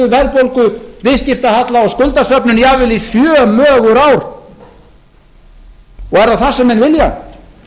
verðbólgu viðskiptahalla og skuldasöfnun jafnvel í sjö mögur ár er það það sem menn vilja